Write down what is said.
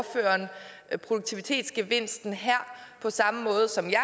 et produktivitetsgevinsten her på samme måde som jeg